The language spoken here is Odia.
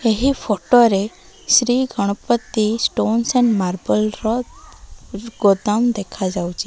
ଏହି ଫଟୋ ରେ Shri Ganapati stones and marble ର ଗୋଦାମ ଦେଖା ଯାଉଚି।